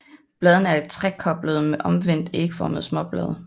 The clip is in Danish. Bladene er trekoblede med omvendt ægformede småblade